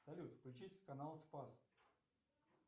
салют включить канал спас